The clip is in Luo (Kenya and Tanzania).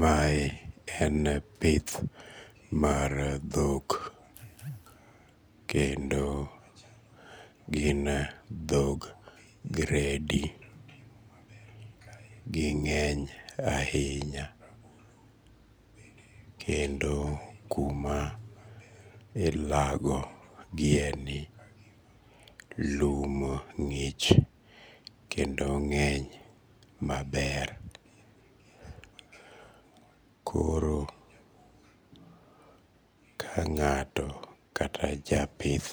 Mae en pith mar dhok, kendo gin dhog gredi ging'eny ahinya kendo kuma ilago gieni lum ng'ich kendo ng'eny maber. Koro ka ng'ato kata japith